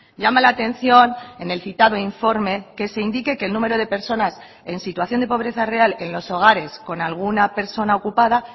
llama la atención en el citado informe que se indique que el número de personas en situación de pobreza real en los hogares con alguna persona ocupada